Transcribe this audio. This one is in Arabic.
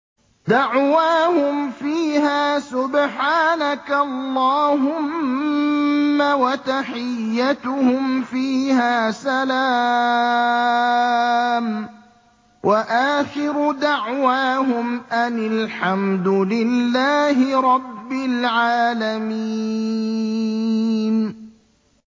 دَعْوَاهُمْ فِيهَا سُبْحَانَكَ اللَّهُمَّ وَتَحِيَّتُهُمْ فِيهَا سَلَامٌ ۚ وَآخِرُ دَعْوَاهُمْ أَنِ الْحَمْدُ لِلَّهِ رَبِّ الْعَالَمِينَ